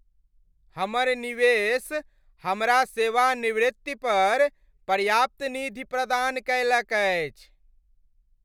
हमर निवेश हमरा सेवानिवृत्ति पर पर्याप्त निधि प्रदान कयलक अछि।